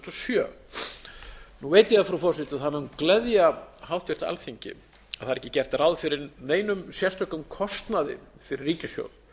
sjö nú veit ég það frú forseti að það mun gleðja háttvirtu alþingi að það er ekki gert ráð fyrir neinum sérstökum kostnaði fyrir ríkissjóð